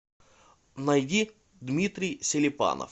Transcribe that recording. найди дмитрий селипанов